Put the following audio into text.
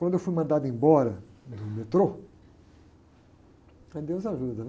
Quando eu fui mandado embora do metrô, aí deus ajuda, né?